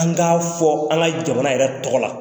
An k'a fɔ an ka jamana yɛrɛ tɔgɔ la.